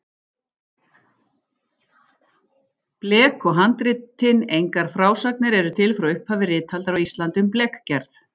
Blek og handritin Engar frásagnir eru til frá upphafi ritaldar á Íslandi um blekgerð.